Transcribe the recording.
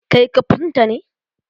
Kai kafnta ne?